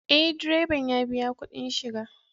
Ee, direban ya biya kuɗin shiga